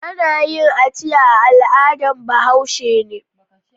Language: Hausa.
Ana yin aciya al'adan Bahaush. ne